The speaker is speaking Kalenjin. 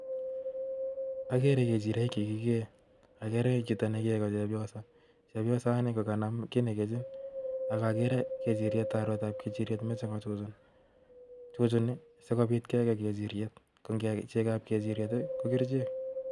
Agere kechiroik che kikee. Agere chito ne kee ko chepyoso. Chepyosoni kokanam kiy ne kechin. Akagere kechiriet, arwetab kechiriet, mechei kochuchun. Chuchuni sikobiit kekei kechiriet. Ko chekob kechiriet, ko kerichek.